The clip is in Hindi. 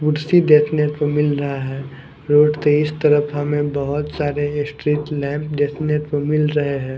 कुर्सी देखने को मिल रहा है रोड के इस तरफ हमें बहुत सारे स्ट्रीट लैंप देखने को मिल रहे हैं।